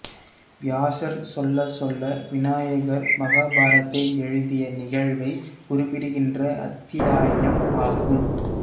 வியாசர் சொல்லச் சொல்ல விநாயகர் மகாபாரதத்தை எழுதிய நிகழ்வை குறிப்பிடுகின்ற அத்தியாயம் ஆகும்